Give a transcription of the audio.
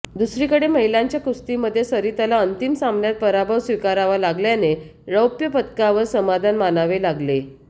दुसरीकडे महिलांच्या कुस्तीमध्ये सरिताला अंतिम सामन्यात पराभव स्वीकारावा लागल्याने रौप्य पदकावर समाधान मानावे लागले